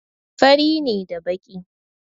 Fari ne da baƙi.